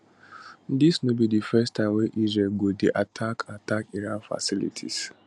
dis no be di first time wey israel go dey attack attack iran facilitirs